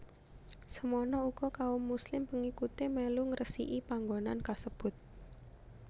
Semono uga kaum Muslim pengikuté mèlu ngresiki panggonan kasebut